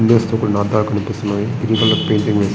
Windows తో కూడిన అద్దాలు కనిపిస్తున్నాయి. Green colour painting --